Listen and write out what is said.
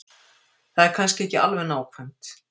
Það er kannski ekki alveg nákvæmt.